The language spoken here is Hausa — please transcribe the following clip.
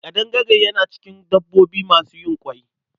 Ƙadangare yana cikin dabbobi masu yin ƙwai.